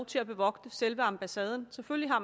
til at bevogte selve ambassaden selvfølgelig har